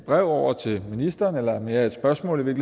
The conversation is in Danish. brev over til ministeren eller i virkeligheden mere et spørgsmål